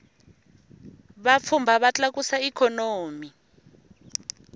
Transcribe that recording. vapfhumba va tlakusa ikhonomi